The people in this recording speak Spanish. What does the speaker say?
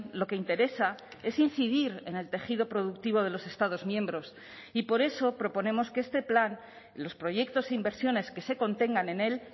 lo que interesa es incidir en el tejido productivo de los estados miembros y por eso proponemos que este plan los proyectos e inversiones que se contengan en él